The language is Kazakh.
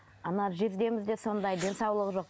ана жездеміз де сондай денсаулығы жоқ